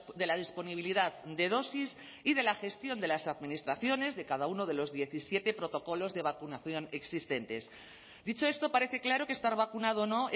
de la disponibilidad de dosis y de la gestión de las administraciones de cada uno de los diecisiete protocolos de vacunación existentes dicho esto parece claro que estar vacunado o no